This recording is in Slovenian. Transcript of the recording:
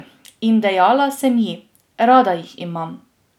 In dejala sem ji: 'Rada jih imam.